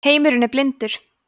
heimurinn er blindur